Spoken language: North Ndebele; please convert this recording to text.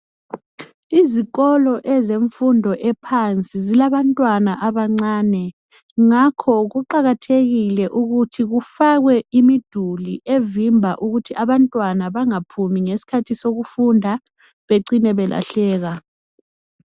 Izikolo ezemfundo ephansi zilabantwana abancane, ngakho kuqakathekile ukuthi kufakwe imuduli evimba ukuthi abantwana bangaphumi ngesikhathi sokufunda becine belahleka.